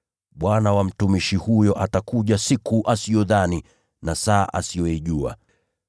Basi bwana wa mtumishi huyo atakuja siku asiyodhani na saa asiyoijua.